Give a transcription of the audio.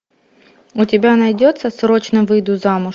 у тебя найдется срочно выйду замуж